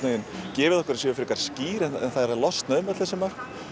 gefið okkur að séu frekar skýr en það er að losna um öll þessi mörk